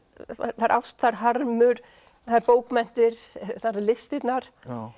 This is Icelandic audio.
það er ást það er harmur það eru bókmenntir það eru listirnar